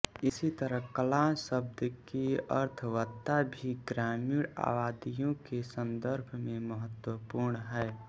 इसी तरह कलां शब्द की अर्थवत्ता भी ग्रामीण आबादियों के संदर्भ में महत्वपूर्ण है